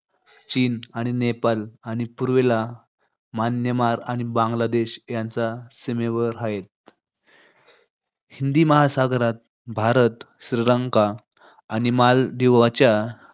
चीन आणि नेपाळ आणि पूर्वेला म्यानमार आणि बांगलादेश यांच्या सीमेवर हाय. हिंदी महासागरात, भारत श्रीलंका आणि मालदीवच्या